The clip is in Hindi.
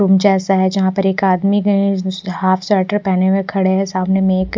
रूम जैसा है जहां पर एक आदमी है उसने हाफ स्वेटर पहने हुए खड़े है सामने में एक--